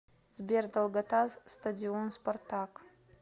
сбер долгота стадион спартак